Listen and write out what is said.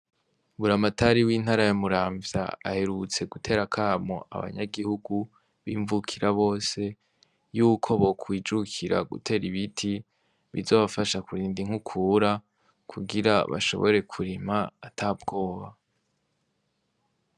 Buramatari w'intara ya Muramvya aherutse gutera akamo abanyagihugu b'imvukira bose yuko bokwijukira gutera ibiti, bizobafasha kurinda inkukura kugira bashobore kurima ata bwoba.